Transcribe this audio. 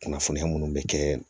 Kunnafoniya munnu be kɛ